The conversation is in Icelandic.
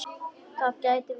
Það gæti verið.